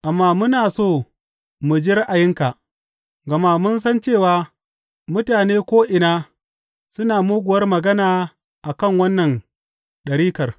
Amma muna so mu ji ra’ayinka, gama mun san cewa mutane ko’ina suna muguwar magana a kan wannan ɗarikar.